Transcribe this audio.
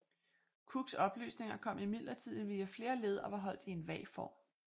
Cooks oplysninger kom imidlertid via flere led og var holdt i en vag form